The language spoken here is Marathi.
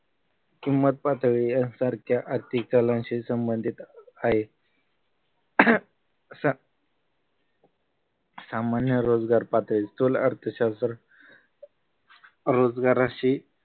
किंमत पातळी यांसारख्या आर्थिक कलांशी संबंधित आहे सामान्य रोजगार पातळी स्थूल अर्थशास्त्र रोजगाराशी